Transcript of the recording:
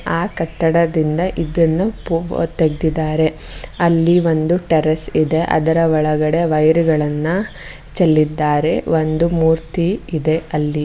ಆ ಕಟ್ಟಡದಿಂದ ಇದನ್ನ ಫೋಟೋ ತೆಗೆದಿದ್ದಾರೆ ಅಲ್ಲಿ ಒಂದು ಟೆರೆಸ್ ಇದೆ ಅದರ ಒಳಗಡೆ ವೈರು ಗಳನ್ನ ಚೆಲ್ಲಿದ್ದಾರೆ ಒಂದು ಮೂರ್ತಿ ಇದೆ ಅಲ್ಲಿ.